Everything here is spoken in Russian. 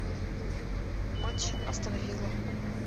матч астон вилла